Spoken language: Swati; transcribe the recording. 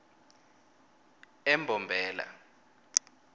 embombela